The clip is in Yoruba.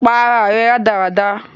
Para ẹ rádaràda!